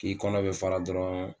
K'i kɔnɔ be fara dɔrɔn